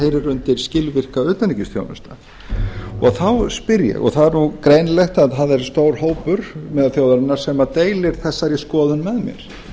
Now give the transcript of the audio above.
heyra undir skilvirka utanríkisþjónustu þá spyr ég og það er nú greinilegt að það verður stór hópur meðal þjóðarinnar sem deilir þessari skoðun með mér